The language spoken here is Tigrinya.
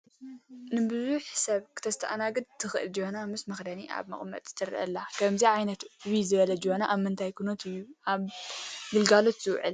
ንብዙሕ ሰብ ክተስተኣናግድ ትኽልእ ጀበና ምስ መኽደና ኣብ መቐመጢ ትርአ ኣላ፡፡ ከምዚ ዓይነት ዕብይ ዝበለ ጀበና ኣብ ምንታይ ኩነት እዩ ኣብ ግልጋሎት ዝውዕል?